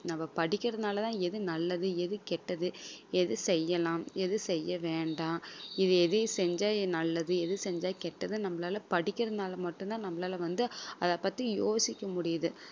நம்ம படிக்கிறதுனாலதான் எது நல்லது எது கெட்டது எது செய்யலாம் எது செய்ய வேண்டாம் இது எதையும் செஞ்சா நல்லது எது செஞ்சா கெட்டதுன்னு நம்மளால படிக்கிறதுனால மட்டும்தான் நம்மளால வந்து அதைப் பத்தி யோசிக்க முடியுது